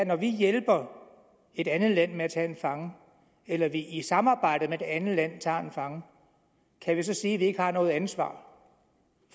når vi hjælper et andet land med at tage en fange eller vi i samarbejde med det andet land tager en fange kan vi så sige at vi ikke har noget ansvar